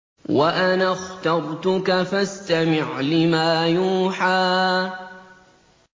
وَأَنَا اخْتَرْتُكَ فَاسْتَمِعْ لِمَا يُوحَىٰ